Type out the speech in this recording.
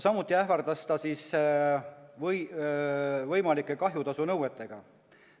Samuti ähvardas ta võimalike kahjutasunõuetega.